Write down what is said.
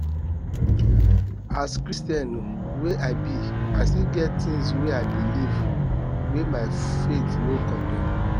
as christian wey i be i still get tins wey i belif wey my faith no condem